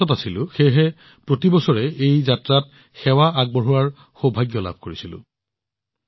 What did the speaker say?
মই গুজৰাটত আছিলো সেয়েহে মইও প্ৰতি বছৰে এই যাত্ৰাত সেৱা আগবঢ়োৱাৰ সৌভাগ্য লাভ কৰিছিলো